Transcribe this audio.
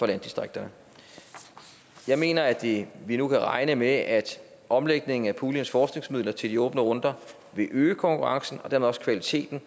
landdistrikterne jeg mener at vi nu kan regne med at omlægningen af puljens forskningsmidler til de åbne runder vil øge konkurrencen og dermed også kvaliteten